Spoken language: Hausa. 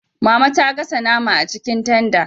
Mama ta gasa nama a cikin tanda